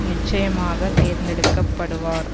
நிச்சயமாக தேர்ந்தெடுக்கப்படுவார்